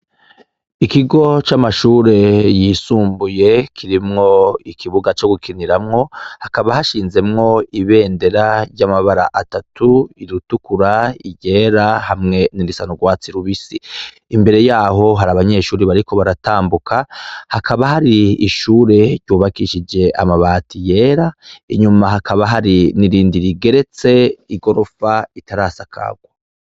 Ikigo c’amashure y’isumbuye, kirimwo ikibuga co gukiniramwo, hakaba hashinzemwo ibendera ry’amabara atatu, iritukura, iryera hamwe n’irisa n’urwatsi rubisi. Imbere yaho har’abanyeshure bariko baratambuka, hakaba hari ishuri ryubakishije amabati yera, inyuma hakaba hari n’irindi rigeretse igirofa itarasakagwa.